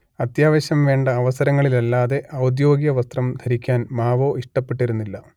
അത്യാവശ്യം വേണ്ട അവസരങ്ങളില്ലല്ലാതെ ഔദ്യോഗിക വസ്ത്രം ധരിക്കാൻ മാവോ ഇഷ്ടപ്പെട്ടിരുന്നില്ല